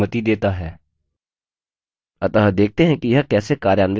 अतः देखते हैं कि यह कैसे कार्यान्वित होता है